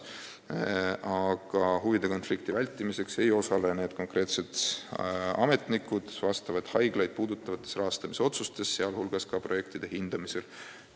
Aga huvide konflikti vältimiseks ei osale need ametnikud konkreetseid haiglaid puudutavate rahastamisotsuste tegemisel, sealhulgas projektide hindamisel.